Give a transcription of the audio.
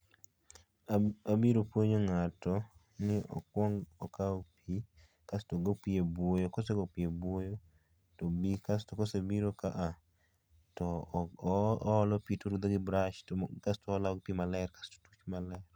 Abiro puonjo ng'ato ni okuong okao pii, kasto ogo pii e buoyo kose go pii e buoyo to obii kasto ka oseiro ka to oolo pii torudho gi brush, kasto olao pii maler kasto pii maler